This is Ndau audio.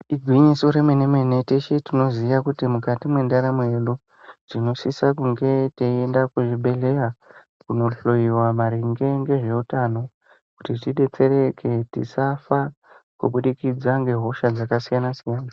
Igwinyiso remenemene teshe tinoziya kuti mukati mwendaramo yedu tinosisa kunge teienda kuzvibhehleya kunohloyiwa maringe ngezveutano kuti tidetsereke tisafa kubudikidza ngehosha dzakasiyanasiyana.